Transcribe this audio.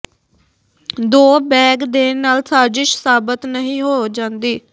ਦੋਂ bag ਦੇਣ ਨਾਲ ਸਾਜਿਸ਼ ਸਾਬਤ ਨਹੀਂ ਹੋ ਜਾਂਦੀ